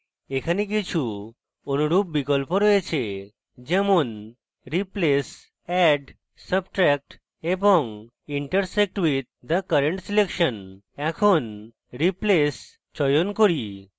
এখানে কিছু অনুরূপ বিকল্প রয়েছে যেমন replace add substract এবং intersect with the current selection এখন replace চয়ন করি